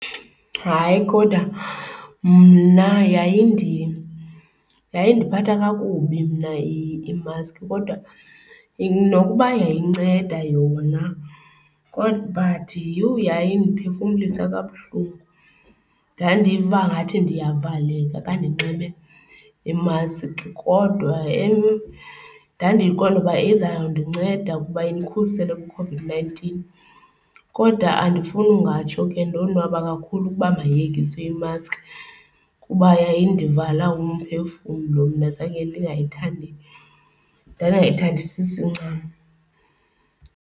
Hayi, kodwa mna yandiphatha kakubi mna i-mask kodwa nokuba yayinceda yona kodwa but yhu yayindiphefumlisa kabuhlungu. Ndandiva angathi ndiyavakaleka ka ndinxibe imaski kodwa ndandiqonda uba izawundinceda ukuba indikhusele kwiCOVID-nineteen. Kodwa andifuni ungatsho ke ndonwaba kakhulu ukuba mayiyekiswe imaski kuba yayindivala umphefumlo mna. Zange ndingayithandi, ndandingayithandisisi ncam.